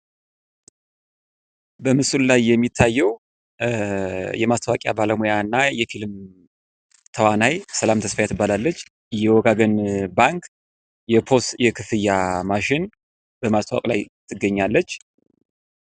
በምስሉ ላይ የሚታዬው የማስታወቂያና ባለሙያና የፊልም ተዋናይ ሰላም ተስፋዬ ትባላለች። የወጋገን ባንክ የፖዝ የክፍያ ማሽን በማስተዋወቅ ላይ ትገኛለች።